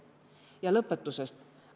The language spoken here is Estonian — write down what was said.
Ja lõpõtusõst.